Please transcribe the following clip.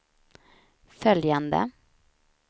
följande